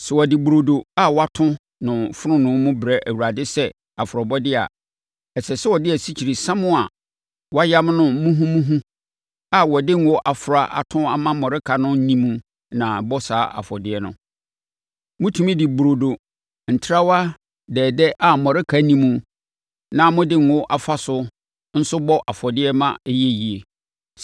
“ ‘Sɛ wɔde burodo a wɔato no fononoo mu brɛ Awurade sɛ afɔrebɔdeɛ a, ɛsɛ sɛ wɔde asikyiresiam a wɔayam no muhumuhu a wɔde ngo afra ato a mmɔreka nni mu na ɛbɔ saa afɔdeɛ no. Motumi de burodo ntrawa dɛɛdɛ a mmɔreka nni mu na mode ngo afa so nso bɔ afɔdeɛ ma ɛyɛ yie.